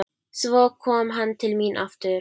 Svo kom hann til mín aftur.